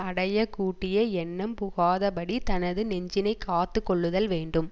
அடைய கூட்டிய எண்ணம் புகாதபடி தனது நெஞ்சினைக் காத்து கொள்ளுதல் வேண்டும்